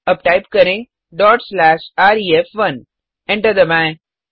अब टाइप करें dot slash रेफ1 एंटर दबाएँ